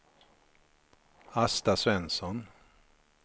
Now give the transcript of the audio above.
Asta Svensson